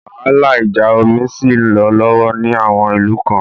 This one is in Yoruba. Wàhálà ìjà omi ṣì ń lọ lọ́wọ́ ní àwọn ìlú kan.